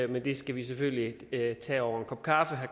men det skal vi selvfølgelig tage over en kop kaffe herre